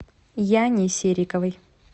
яне сериковой